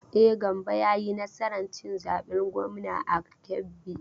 E, Gambo ya yi nasar cin zaben gwamnan a Kebbi.